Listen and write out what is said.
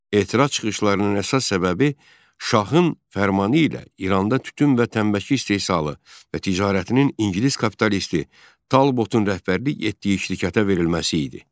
Etiraz çıxışlarının əsas səbəbi şahın fərmanı ilə İranda tütün və tənbəki istehsalı və ticarətinin ingilis kapitalisti Talbotun rəhbərlik etdiyi şirkətə verilməsi idi.